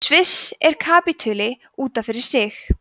sviss er kapítuli út af fyrir sig